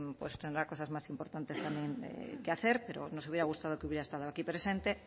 pues tendrá cosas más importantes también que hacer pero nos hubiera gustado que hubiera estado aquí presente